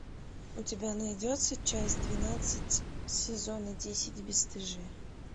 у тебя найдется часть двенадцать сезона десять бесстыжие